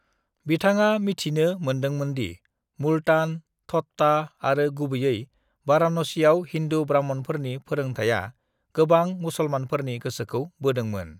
"बिथाङा मिथिनो मोन्दोंमोनदि मुल्तान, ठट्टा आरो गुबैयै वाराणसीआव हिंदू ब्राह्मणफोरनि फोरोंथाया गोबां मुसलमनफोरनि गोसोखौ बोदोंमोन।"